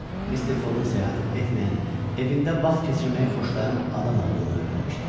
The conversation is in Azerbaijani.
Mister Foqqun səyahət etməyən, evində vaxt keçirməyi xoşlayan adam olduğunu öyrənmişdi.